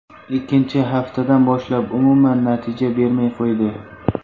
Ikkinchi haftadan boshlab umuman natija bermay qo‘ydi.